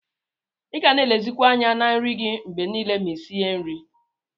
Iga na elezikwa anya na nri gi mgbe nile ma isinye nri.